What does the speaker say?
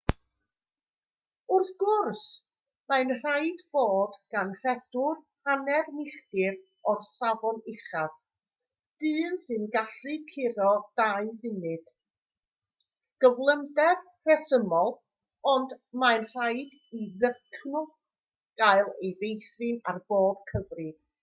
wrth gwrs mae'n rhaid fod gan redwr hanner milltir o'r safon uchaf dyn sy'n gallu curo dau funud gyflymder rhesymol ond mae'n rhaid i ddycnwch gael ei feithrin ar bob cyfrif